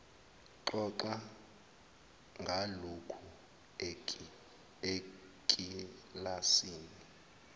xoxa ngalokhu ekilasini